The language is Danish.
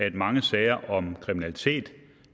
at mange sager om kriminalitet